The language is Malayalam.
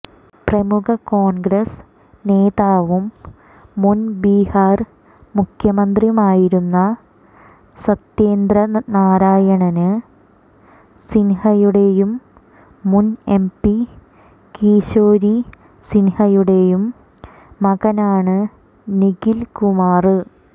പ്രമുഖ കോണ്ഗ്രസ് നേതാവും മുന് ബിഹാര് മുഖ്യമന്ത്രിയുമായിരുന്ന സത്യേന്ദ്രനാരായണ് സിന്ഹയുടെയും മുന് എംപി കിശോരി സിന്ഹയുടെയും മകനാണ് നിഖില് കുമാര്